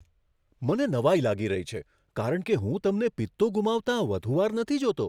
મને નવાઈ લાગી રહી છે, કારણ કે હું તમને પિત્તો ગુમાવતાં વધુ વાર નથી જોતો.